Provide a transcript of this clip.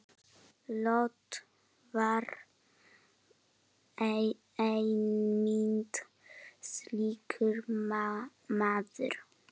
Lot var einmitt slíkur maður.